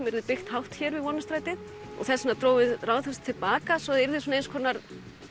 yrði byggt hátt hér við Vonarstrætið þess vegna drógum við Ráðhúsið aðeins til baka svo það yrði eins konar